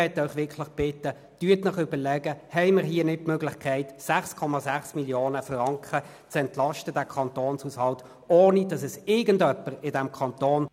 Ich möchte Sie wirklich bitten, sich zu überlegen, ob wir hier nicht die Möglichkeit haben, den Kantonshaushalt um 6,6 Mio. Franken zu entlasten, ohne dass irgendjemand in diesem Kanton…